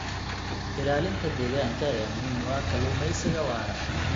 Ilaalinta deegaanka ayaa muhiim u ah kalluumeysiga waara.